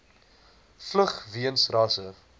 vlug weens rasse